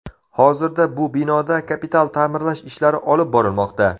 Hozirda bu binoda kapital ta’mirlash ishlari olib borilmoqda.